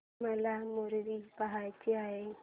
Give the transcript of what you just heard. मला मूवी पहायचा आहे